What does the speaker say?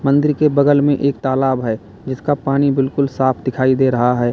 मंदिर के बगल में एक तालाब है जिसका पानी बिल्कुल साफ दिखाई दे रहा है।